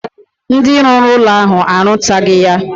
Ndi ruru ulo ahu arutaghi ya.